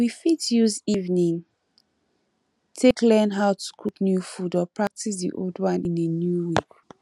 we fit use evening take learn how to cook new food or practice di old one in a new way